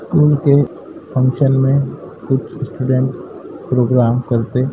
school के function में कुछ स्टूडेंट प्रोग्राम करते --